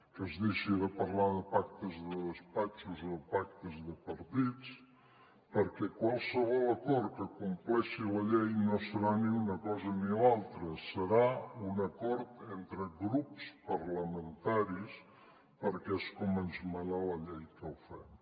que es deixi de parlar de pactes de despatxos o pactes de partits perquè qualsevol acord que compleixi la llei no serà ni una cosa ni l’altra serà un acord entre grups parlamentaris perquè és com ens mana la llei que ho fem